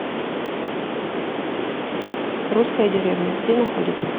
русская деревня где находится